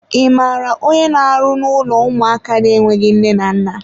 I maara onye n'arụ n'ụlọ ụmụaka na-enweghị nne na nna?